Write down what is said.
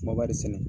Kumaba de sɛnɛ